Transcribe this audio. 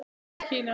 Fyrst til Kína.